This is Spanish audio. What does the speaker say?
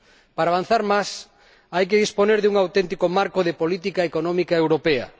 Para avanzar más, hay que disponer de un auténtico marco de política económica europea.